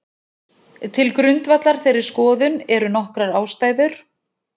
Til grundvallar þeirri skoðun eru nokkrar ástæður.